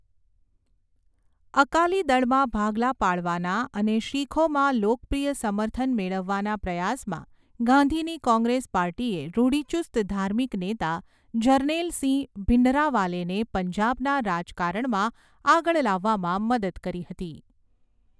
અકાલી દળમાં ભાગલા પાડવાના અને શીખોમાં લોકપ્રિય સમર્થન મેળવવાના પ્રયાસમાં, ગાંધીની કૉંગ્રેસ પાર્ટીએ રૂઢિચુસ્ત ધાર્મિક નેતા જરનૈલ સિંહ ભિંડરાવાલેને પંજાબના રાજકારણમાં આગળ લાવવામાં મદદ કરી હતી.